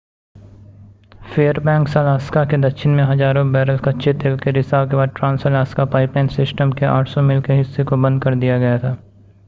Fairbanks Alaska के दक्षिण में हजारों बैरल कच्चे तेल के रिसाव के बाद ट्रांस-अलास्का पाइपलाइन सिस्टम के 800 मील के हिस्से को बंद कर दिया गया था